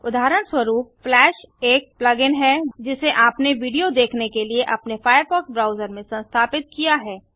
उदाहरणस्वरूप फ्लैश एक plug in है जिसे आपने विडियो देखने के लिए अपने फायरफॉक्स ब्राउजर में संस्थापित किया है